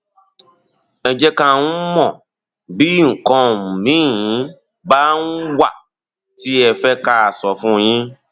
ẹ jẹ ká um mọ bí bí nǹkan um míì bá um wà tí ẹ fẹ ká sọ fún yín